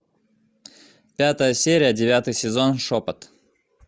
пятая серия девятый сезон шепот